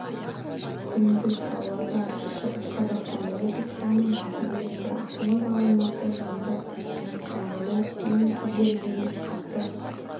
күндіз павлодар шығыс қазақстан облыстарының басым бөлігінде ақмола алматы жамбыл қостанай қарағанды облыстарының кей жерлерінде қатты